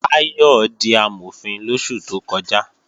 Táyọ̀ di Amọ̀fin lóṣù tó kọjá